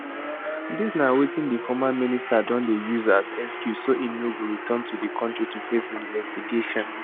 dis na wetin di former minister don dey use as excuse so say im no go return to di kontri to face investigations